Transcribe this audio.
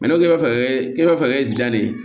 ne ko k'e b'a fɛ k'i b'a fɛ zi ne